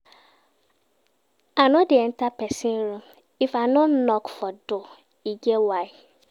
I no dey enta pesin room if I no knock for door, e get why.